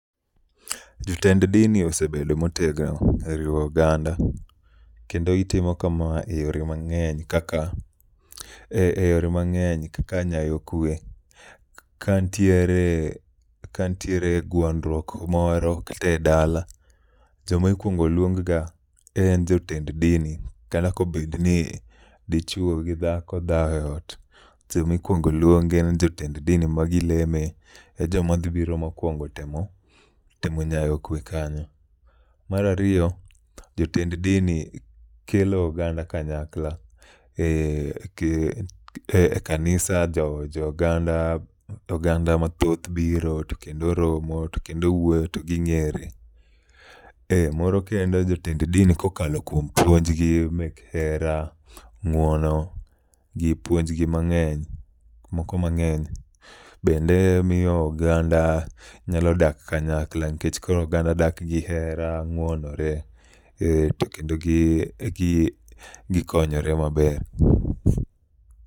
Jotend dini osebedo motegno e riwo oganda. Kendo gitimo kama e yore mang'eny kaka e yore mang'eny kaka nyayo kwe. Ka ntiere, ka ntiere gwandruok moro kata e dala, joma ikwong luong ga en jotend din. Kata kobed ni dichuo gi dhako dhawo e ot, to jomikwongo luongi en jotend dini ma gileme. E joma dhi biro mokwongo temo, temo nyayo kwe anyo. Marariyo, jotend dini kelo oganda kanyakla, e e kanisa jo oganda mathoth biro, to kendo romo, to kendo wuoyo, to ging'ere. Eh moro kendo jotend dini kokalo kuom puonj gi mek hera, ng'uono gi puonjgi mang'eny, moko mang'eny. Bende miyo oganda nyalo dak kanyakla nikech koro oganda dak gi hera, ng'uonore, to kendo gi konyore maber.